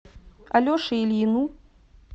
алеше ильину